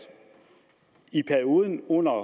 i perioden under